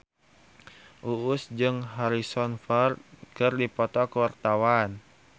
Uus jeung Harrison Ford keur dipoto ku wartawan